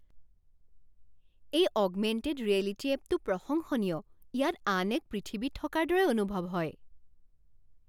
এই augmented reality এপটো প্ৰশংসনীয়। ইয়াত আন এক পৃথিৱীত থকাৰ দৰে অনুভৱ হয়।